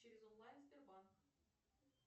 через онлайн сбербанк